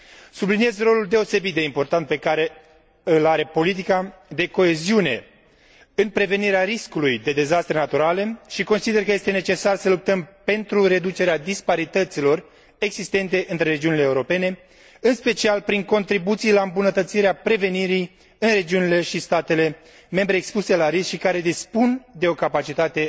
Subliniez rolul deosebit de important pe care îl are politica de coeziune în prevenirea riscului de dezastre naturale și consider că este necesar să luptăm pentru reducerea disparităților existente între regiunile europene, în special prin contribuții la îmbunătățirea prevenirii în regiunile și statele membre expuse la risc și care dispun de o capacitate